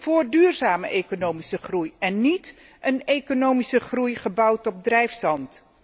voor duurzame economische groei en niet een economische groei gebouwd op drijfzand.